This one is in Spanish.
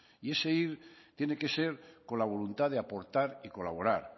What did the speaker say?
y ese ir tiene que ser con la voluntad de aportar y colaborar